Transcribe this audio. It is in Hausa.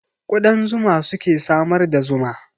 Ƙudan zuma suke samar da zuma